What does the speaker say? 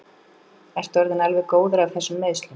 Ertu orðinn alveg góður af þessum meiðslum?